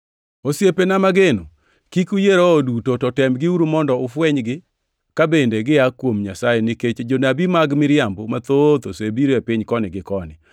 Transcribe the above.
Osiepena mageno kik uyie roho duto, to temgiuru mondo ufwenygi ka bende gia kuom Nyasaye nikech jonabi mag miriambo mathoth osebiro e piny koni gi koni.